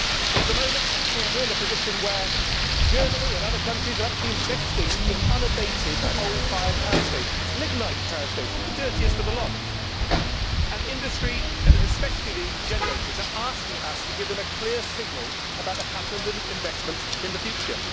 At the moment we are in a position where Germany and other countries are actually investing in unabated coal fired power stations lignite power stations, the dirtiest of the lot and industry, especially the generators, are asking us to give them a clear signal about the pattern of investment in the future.